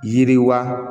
Yiriwa